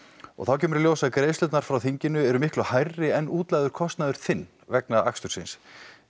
og þá kemur í ljós að greiðslurnar frá þinginu eru miklu hærri en útlagður kostnaður þinn vegna akstursins